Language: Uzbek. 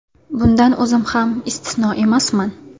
Bundan o‘zim ham istisno emasman.